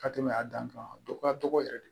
Ka tɛmɛ a dan kan a dɔgɔya dɔgɔ yɛrɛ de